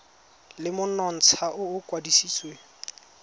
le monontsha o o kwadisitsweng